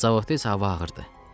Zavodda isə hava ağırdır.